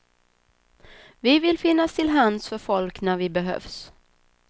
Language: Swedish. Vi vill finnas till hands för folk när vi behövs.